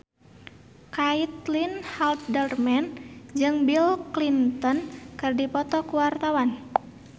Caitlin Halderman jeung Bill Clinton keur dipoto ku wartawan